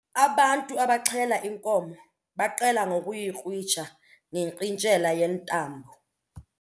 Abantu abaxhela inkomo baqale ngokuyikrwitsha ngerhintyela yentambo.